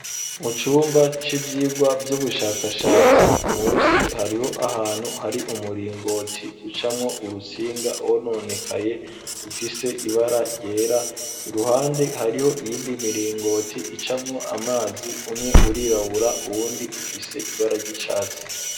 Mu cumba c'ivyiwwa vy'ubushakashatsi, musi hariho ahantu hari umuringoti ucamwo urusinga rwononekaye ufise ibara ryera, iruhande hariho iyindi miringoti icamwo amazi, umwe urirabura, uwundi ufise ibara ry'icatsi.